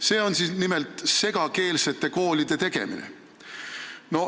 See on nimelt segakeelsete koolide tegemine.